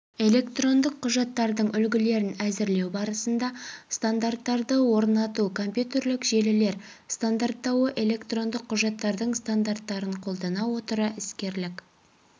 электрондық құжаттардың үлгілерін әзірлеу барысында стандарттарды орнату компьютерлік желілер стандарттауы электрондық құжаттардың стандарттарын қолдана отыра іскерлік